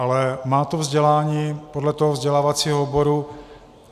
Ale má to vzdělání podle toho vzdělávacího oboru.